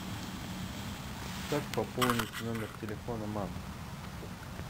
как пополнить номер телефона мамы